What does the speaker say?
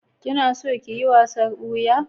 Kina son kiyi wasan boya?